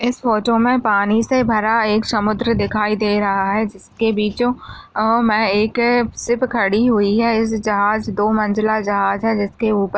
इस फोटो में पानी से भरा एक समुद्र दिखाई दे रहा है जिसके बीचों अं में एक शिप खड़ी हुई है इस जहाज दो मंज़िला जहाज हैं जिसके ऊपर--